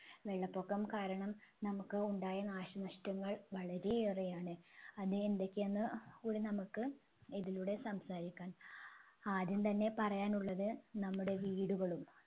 വെള്ളപൊക്കം കാരണം നമ്മുക്ക് ഉണ്ടായ നാശനഷ്ടങ്ങൾ വളരെ ഏറെയാണ് അത് എന്തൊക്കെയെന്ന് കൂടി നമ്മുക്ക് ഇതിലൂടെ സംസാരിക്കാം ആദ്യം തന്നെ പറയാനുള്ളത് നമ്മുടെ വീടുകളും